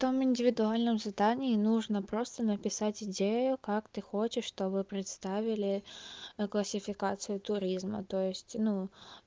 там в индивидуальном задании нужно просто написать идею как ты хочешь чтобы представили классификации туризма то есть ну